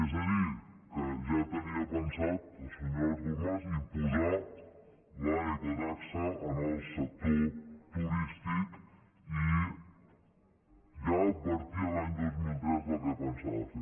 és a dir que ja tenia pensat el senyor artur mas imposar l’ecotaxa al sector turístic i ja advertia l’any dos mil tres el que pensava fer